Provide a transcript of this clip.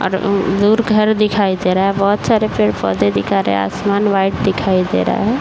और घर दिखाई दे रहा है। बहोत सारे पेड़ पौधे दिख रहे हैं। आसमान व्हाइट दिखाई दे रहा है।